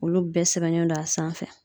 Olu bɛɛ sɛbɛnnen don a sanfɛ